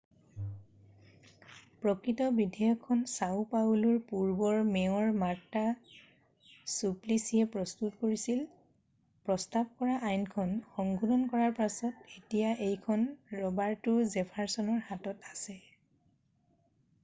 প্ৰকৃত বিধেয়কখন চাও পাউলোৰ পূৰ্বৰ মেয়ৰ মাৰ্টা চুপ্লিছিয়ে প্ৰস্তুত কৰিছিল প্ৰস্তাৱ কৰা আইনখন সংশোধন কৰাৰ পাছত এতিয়া এইখন ৰবাৰ্টো জেফাৰৰ্চনৰ হাতত আছে